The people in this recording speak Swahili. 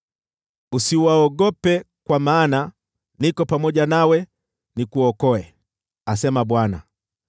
Usiwaogope, kwa maana niko pamoja nawe nikuokoe,” asema Bwana .